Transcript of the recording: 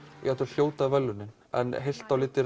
hljóta verðlaunin en heilt á litið